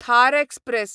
Thar express